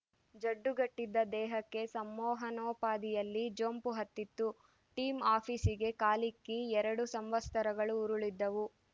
ಜಡ್ಡುಗಟ್ಟಿದ್ದ ದೇಹಕ್ಕೆ ಸಂಮೋಹನೋಪಾದಿಯಲ್ಲಿ ಜೊಂಪು ಹತ್ತಿತ್ತು ಟಿಮ್‌ ಆಫೀಸಿಗೆ ಕಾಲಿಕ್ಕಿ ಎರಡು ಸಂವತ್ಸರಗಳು ಉರುಳಿದ್ದವು